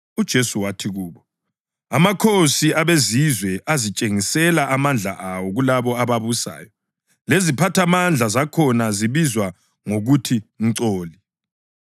UJesu wathi kubo, “Amakhosi abeZizwe azitshengisela amandla awo kulabo ababusayo; leziphathamandla zakhona zibizwa ngokuthi Mcoli.